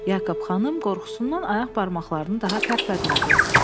Yakob xanım qorxusundan ayaq barmaqlarını daha tərpətmədi.